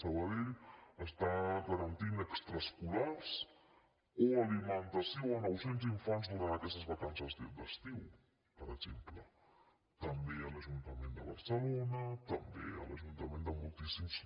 sabadell està garantint extraescolars o alimentació a nou cents infants durant aquestes vacances d’estiu per exemple també l’ajuntament de barcelona també l’ajuntament de moltíssims